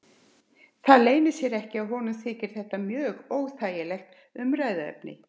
Það leynir sér ekki að honum þykir þetta mjög óþægilegt umræðuefni.